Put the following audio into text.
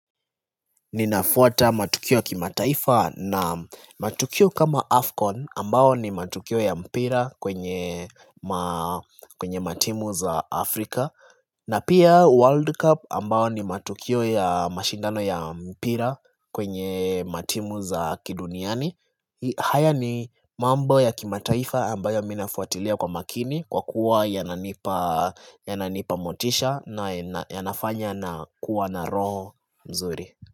Ninafuata matukio ya kimataifa na matukio kama Afcon ambao ni matukio ya mpira kwenye matimu za Afrika na pia World Cup ambao ni matukio ya mashindano ya mpira kwenye matimu za kiduniani haya ni mambo ya kimataifa ambayo mi nafuatilia kwa makini kwa kuwa yananipa yananipa motisha na yanafanya na kuwa na roho mzuri.